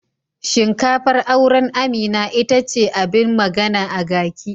Shinkafar auren Amina ita ce abin magana a gaki.